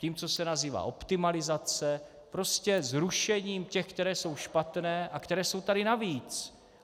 Tím, co se nazývá optimalizace, prostě zrušením těch, které jsou špatné a které jsou tady navíc.